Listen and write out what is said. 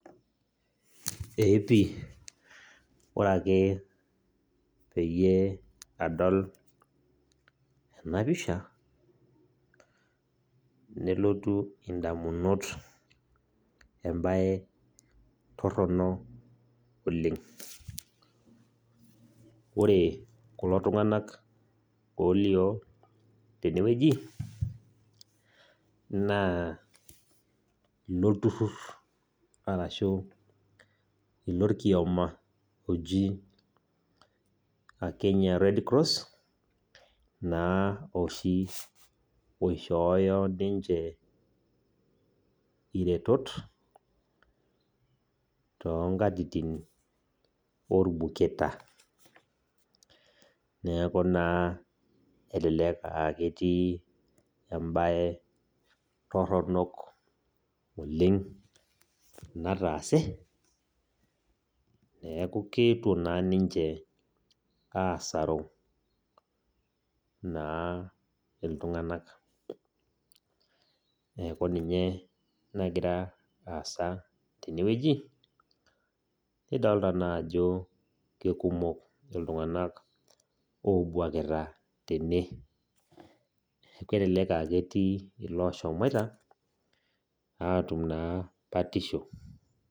Epi ore ake pee adol enapisha nelotu indamunot embae torono oleng . Ore kulo tunganak olioo tenewueji naa ilolturur arashu ilorkioma oji kenya red cross naa oishoyo oshi ninche iretot toonkatitin orbuketa. Niaku naa elelek aa ketii embae toronok oleng nataase neku keetuo naa ninche asaru naa iltunganak .Neku ninye nagira aasa tenwueji , nidolta naa ajo kekumok iltunganak obwakita tene neku kelelek aa ketii naa iloshoita atum naa batisho.